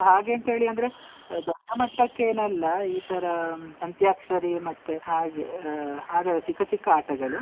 ಹಾಗೆ ಅಂತ ಹೇಳಿ ಅಂದ್ರೆ ದೊಡ್ಡ ಮಟ್ಟಕ್ಕೆ ಏನ್ ಅಲ್ಲ, ಈ ತರ ಅಂತ್ಯಾಕ್ಷರಿ ಮತ್ತೆ ಹಾಗೆ ಹಾ ಆಡುವ ಚಿಕ್ಕ ಚಿಕ್ಕ ಆಟಗಳು.